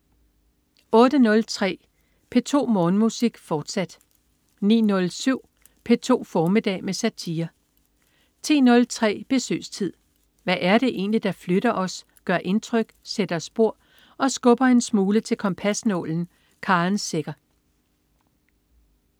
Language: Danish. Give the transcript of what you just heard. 08.03 P2 Morgenmusik, fortsat 09.07 P2 formiddag med satire 10.03 Besøgstid. Hvad er det egentlig, der flytter os, gør indtryk, sætter spor og skubber en smule til kompasnålen? Karen Secher